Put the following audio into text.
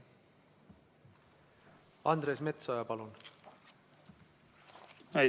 Andres Metsoja, palun!